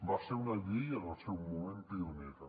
va ser una llei en el seu moment pionera